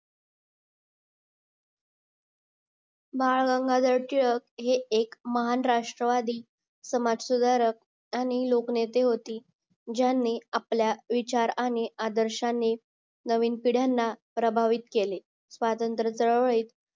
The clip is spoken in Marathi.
बाळ गंगाधर टिळक हे एक महान राष्ट्रवादी समाजसुधारक आणि लोकनेते होती ज्यांनी आपल्या विचारांनी आणि आदर्शनी नवीन पिढयांना प्रभावित केले स्वतंत्र चळवळीत